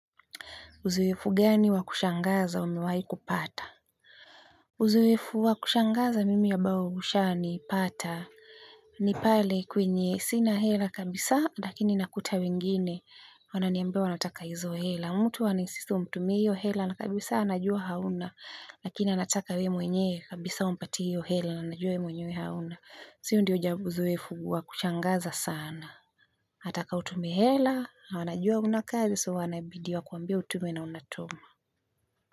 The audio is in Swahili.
Uzoefu gani wa kushangaza umewahi kupata? Uzoefu wa kushangaza mimi ambayo ushawahi kunipata ni pale kwenye sina hela kabisa lakini nakuta wengine wananiambia wanataka hizo hela. Mtu ana insist umtumie hela na kabisa anajua hauna, lakini anataka wewe mwenyewe kabisa umpatie hiyo hela na anajua we mwenyewe hauna. Si hiyo ndio jambo uzoefu wa kushangaza sana. Anataka utume hela na anajua hauna kazi so wanabidi wakuambie utume na unatuma.